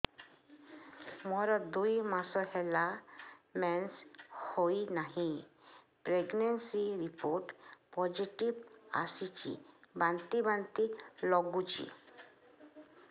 ମୋର ଦୁଇ ମାସ ହେଲା ମେନ୍ସେସ ହୋଇନାହିଁ ପ୍ରେଗନେନସି ରିପୋର୍ଟ ପୋସିଟିଭ ଆସିଛି ବାନ୍ତି ବାନ୍ତି ଲଗୁଛି